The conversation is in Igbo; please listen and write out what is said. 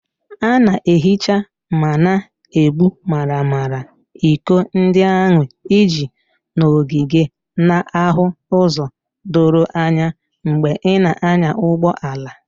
A na-ehicha ma na-egbu maramara iko ndị ahụ iji nọgide na-ahụ ụzọ doro anya mgbe ị na-anya ụgbọ ala.